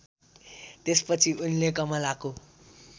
त्यसपछि उनले कमलाको